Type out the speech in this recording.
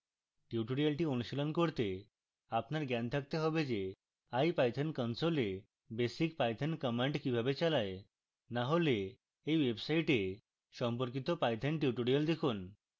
tutorial অনুশীলন করতে আপনার জ্ঞান থাকতে হবে যে ipython console এ বেসিক পাইথন কমান্ড কিভাবে চালায়